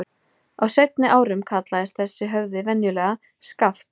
Á seinni árum kallaðist þessi höfði venjulega Skaft.